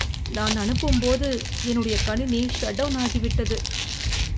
நான் அனுப்பும்போது என்னுடைய கணினி ஷட் டவுன் ஆகிவிட்டது.